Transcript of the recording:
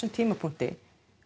tímapunkti